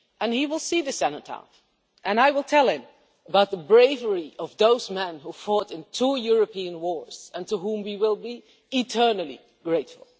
he will see the Cenotaph and I will tell him about the bravery of those men who fought in two European wars and to whom we will be eternally grateful.